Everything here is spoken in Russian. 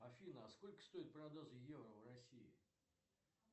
афина а сколько стоит продажа евро в россии